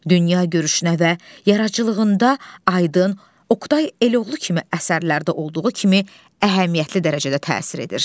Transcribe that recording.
Dünya görüşünə və yaradıcılığında aydın Oqtay Eloğlu kimi əsərlərdə olduğu kimi əhəmiyyətli dərəcədə təsir edir.